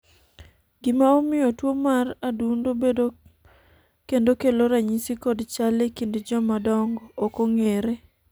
gima omiyo tuo mar adundo bedo kendo kelo ranyisi kod chal e kind joma dongo ok ong'ere